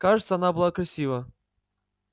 кажется она была красива